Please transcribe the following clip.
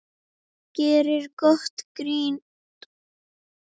Gerir gott grín.